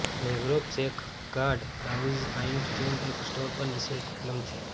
મેગ્રોફ safeguard browser iTunes app store પર નિઃશુલ્ક ઉપલબ્ધ છે